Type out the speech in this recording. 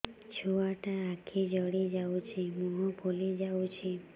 ଛୁଆଟା ଆଖି ଜଡ଼ି ଯାଉଛି ମୁହଁ ଫୁଲି ଯାଉଛି